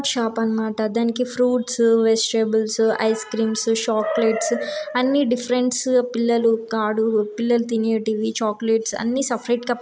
shop అనమాట దానికి fruits vegetables ice creams chocolates అన్నీ డిఫరెన్స్ పిల్లలు కాడు పిల్లలు తినేటివి చాక్లెట్స్ అని సెఫరేట్ గా